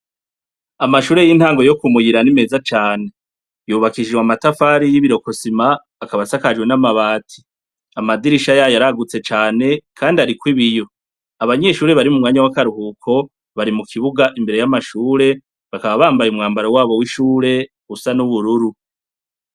Amashure y'intango yo ku Muyira ni meza cane. Yubakishijwe amatafari y'Ibirokosima, akaba asakajwe n'amabati. Amadirisha yayo aragutse cane, kandi ariko ibiyo. Abanyeshure bari mu mwanya w'akaruhuko bari mu kibuga imbere y'amashure, bakaba bambaye umwambaro wabo w'ishure usa n'ubururu